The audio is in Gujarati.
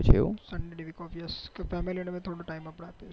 એવું sunday ની week ofyesfamily ને ભી થોડું time આપવાનું